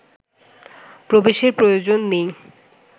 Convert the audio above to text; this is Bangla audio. প্রবেশের প্রয়োজন নেই